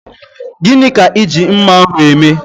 Gini ka I ji mma ahu eme?